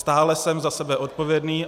Stále jsem za sebe odpovědný.